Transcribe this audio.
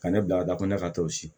Ka ne bila ka taa ko ne ka to si